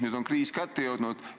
Nüüd on kriis kätte jõudnud.